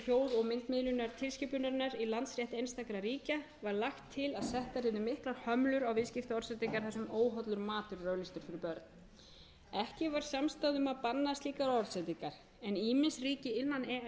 hljóð og myndmiðlunartilskipunarinnar í landsrétti einstakra ríkja var lagt til að settar yrðu miklar hömlur á viðskiptaorðsendingar þar sem óhollur matur er auglýstur fyrir börn ekki var samstaða um að banna slíkar orðsendingar en ýmis ríki innan e e s svo sem danmörk höfðu þegar